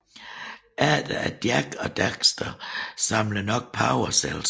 Efter at Jak og Daxter samler nok Power Cells